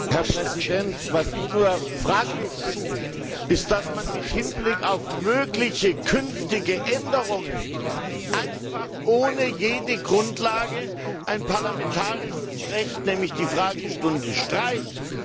Herr Präsident, was ich fraglich finde, ist, dass man im Hinblick auf mögliche künftige Änderungen einfach ohne jede Grundlage ein parlamentarisches Recht nämlich die Fragestunde streicht.